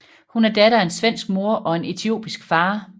Hun er datter af en svensk mor og en etiopisk far